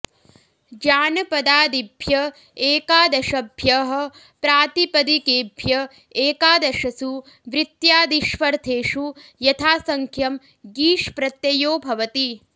जानपदाऽदिभ्य एकादशभ्यः प्रातिपदिकेभ्य एकादशसु वृत्त्यादिष्वर्थेषु यथासङ्ख्यं ङीष् प्रत्ययो भवति